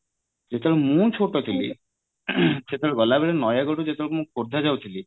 ଯେତେବେଳେ ମୁଁ ଛୋଟ ଥିଲି ସେତେବେଳେ ଗଲାବେଳେ ନୟାଗଡ ରୁ ଯେତେବେଳେ ମୁଁ ଖୋର୍ଦ୍ଧା ଯାଉଥିଲି